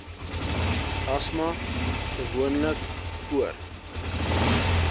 asma gewoonlik voor